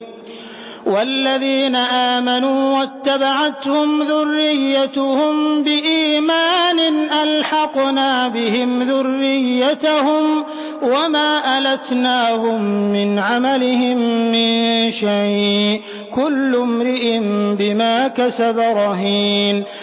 وَالَّذِينَ آمَنُوا وَاتَّبَعَتْهُمْ ذُرِّيَّتُهُم بِإِيمَانٍ أَلْحَقْنَا بِهِمْ ذُرِّيَّتَهُمْ وَمَا أَلَتْنَاهُم مِّنْ عَمَلِهِم مِّن شَيْءٍ ۚ كُلُّ امْرِئٍ بِمَا كَسَبَ رَهِينٌ